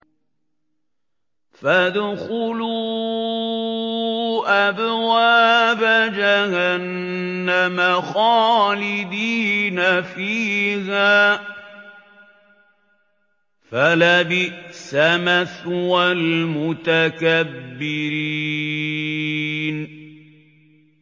فَادْخُلُوا أَبْوَابَ جَهَنَّمَ خَالِدِينَ فِيهَا ۖ فَلَبِئْسَ مَثْوَى الْمُتَكَبِّرِينَ